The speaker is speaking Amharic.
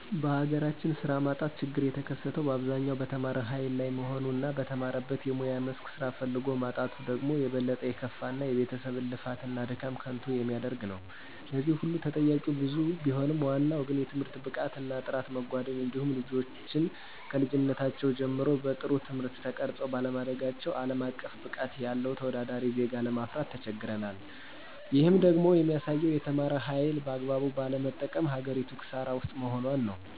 በሀገራችን ስራ ማጣት ችግሩ የተከሰተው በአብዛኛው በተማረ ሀይል ላይ መሆኑ እና በተማረበት የሙያ መስክ ስራ ፈልጎ ማጣቱ ደግሞ የበለጠ የከፋ እና የቤተሰብን ልፋት እና ድካም ከንቱ የሚያደርግ ነው። ለዚህ ሁሉ ተጠያቂዉ ብዙ ቢሆንም ዋናው ግን የትምህርት ብቃት እና ጥራት መጓደል እንዲሁም ልጆችን ከልጅነታቸው ጀምረው በጥሩ ትምህርት ተቀርፀው ባለማደጋቸው አለም አቀፍ ብቃት ያለው ተወዳዳሪ ዜጋ ለማፍራት ተቸግረናል። ይህም ደግሞ የሚያሳየው የተማረ ሀይልን በአግባቡ ባለመጠቀም ሀገሪቱ ክሳራ ውስጥ መሆኗን ነው።